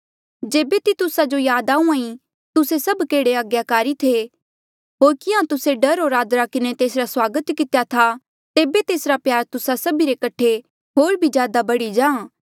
जेबे तितुसा जो याद आहूँआं ईं तुस्से सभ केहड़े आज्ञाकारी थे होर किहाँ तुस्से डर होर आदरा किन्हें तेसरा स्वागत कितेया था तेबे तेसरा प्यार तुस्सा सभी रे कठे होर भी ज्यादा बढ़ी जाहाँ